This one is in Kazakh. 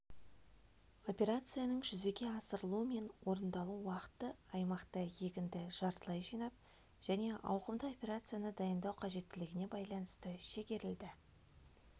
операцияның жүзеге асырылу мен орындалу уақыты аймақта егінді жартылай жинап және ауқымды операцияны дайындау қажеттілігіне байланысты шегерілді